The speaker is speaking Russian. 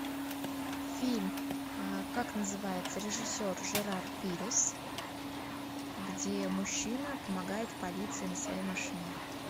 фильм как называется режиссер жерар пирес где мужчина помогает полиции на своей машине